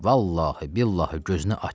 Vallahi, billahi gözünü aç.